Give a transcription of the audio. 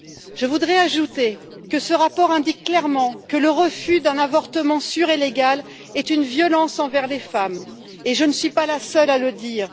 Je voudrais ajouter que ce rapport indique clairement que le refus d'un avortement sûr et légal est une violence envers les femmes, et je ne suis pas la seule à le dire.